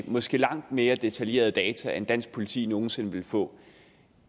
måske langt mere detaljerede data end dansk politi nogen sinde vil få